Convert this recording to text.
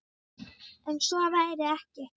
En svo væri ekki.